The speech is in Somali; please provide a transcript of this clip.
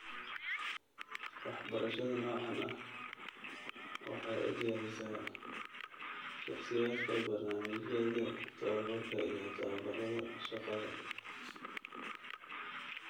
Waxbarashada noocaan ah waxay u diyaarisaa shakhsiyaadka barnaamijyada tababbarka iyo tababarrada shaqada